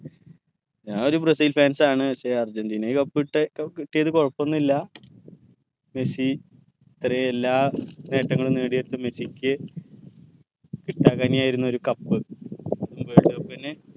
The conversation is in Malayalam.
ഞാൻ ഒരു ബ്രസീൽ fans ആണ് പക്ഷെ അർജന്റീന cup കിട്ട്യേ കി കിട്ട്യത് കൊഴപൊന്നില്ല മെസ്സി ഇത്രേം എല്ലാ നേട്ടങ്ങളു നേടിയിട്ടും മെസ്സിക്ക് കിട്ടാക്കനിയായിരുന്നൊരു cup world cup ന്നെ